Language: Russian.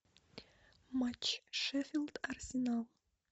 матч шеффилд арсенал